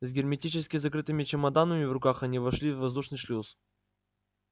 с герметически закрытыми чемоданами в руках они вошли в воздушный шлюз